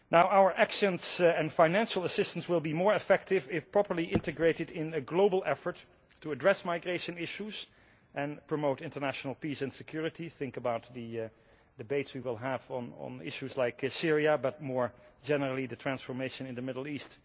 Our actions and financial assistance will be more effective if properly integrated in a global effort to address migration issues and promote international peace and security think about the debates we will have on issues like Syria but, more generally, the transformation in the Middle East.